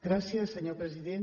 gràcies senyor president